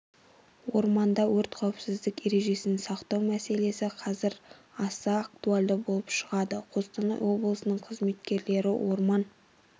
орманда өрт қауіпсіздік ережесін сақтау мәселесі қазір аса актуальды болып шығады қостанай облысының қызметкерлері орман